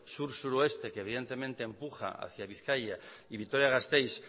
sur suroeste que evidentemente empuja hacia bizkaia y vitoria gasteiz